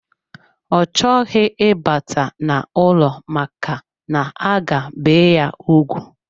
Ọ chọghị ịbata n'ụlọ maka na-aga bee ya ugwu.